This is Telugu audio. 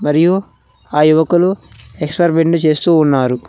మరియు ఆ యువకులు ఎక్స్పరిమెంట్ చేస్తూ ఉన్నారు.